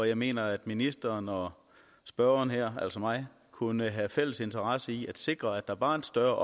jeg mener at ministeren og spørgeren her altså mig kunne have en fælles interesse i at sikre at der var en større